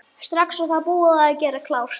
Strax og það er búið að gera klárt.